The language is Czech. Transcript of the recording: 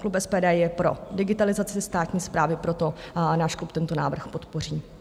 Klub SPD je pro digitalizaci státní správy, proto náš klub tento návrh podpoří.